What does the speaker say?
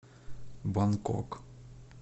бангкок